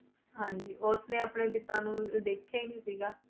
ਹਾਂਜੀ ਉਸਨੇ ਆਪਣੇ ਪਿਤਾ ਨੂੰ ਦੇਖਿਆ ਹੀ ਨੀ ਸੀਗਾ।